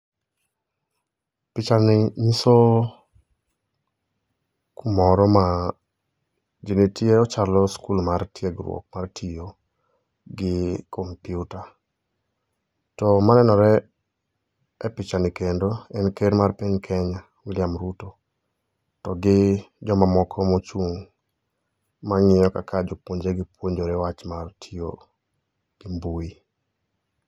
Pichani ng'iso kumoro ma ji nitie, ochalo skul mar tiegruok mar tiyo gi kompiuta. To manenore e pichani kendo en ker mar piny kenya, William Ruto to gi jomamoko mochung' mang'iyo kaka jopuonjre gi puonjore wach mar tiyo gi mbui.